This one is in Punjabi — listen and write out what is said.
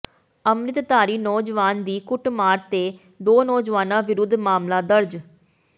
ਅੰਮਿ੍ਤਧਾਰੀ ਨੌਜਵਾਨ ਦੀ ਕੁੱਟਮਾਰ ਤੇ ਦੋ ਨੌਜਵਾਨਾਂ ਵਿਰੁੱਧ ਮਾਮਲਾ ਦਰਜ